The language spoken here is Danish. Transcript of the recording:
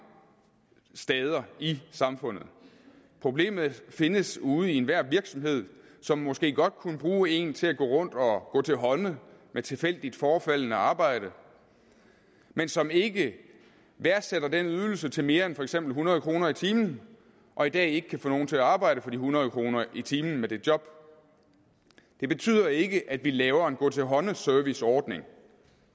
steder i samfundet problemet findes ude i enhver virksomhed som måske godt kunne bruge en til at gå rundt og gå til hånde med tilfældigt forefaldende arbejde men som ikke værdisætter den ydelse til mere end for eksempel hundrede kroner i timen og i dag ikke kan få nogen til at arbejde for de hundrede kroner i timen med det job det betyder ikke at vi laver en gå til hånde serviceordning